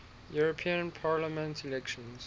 european parliament elections